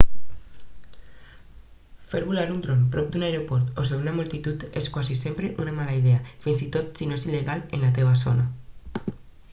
fer volar un dron prop d'un aeroport o sobre una multitud és quasi sempre una mala idea fins i tot si no és il·legal en la teva zona